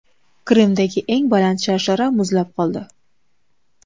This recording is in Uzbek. Qrimdagi eng baland sharshara muzlab qoldi .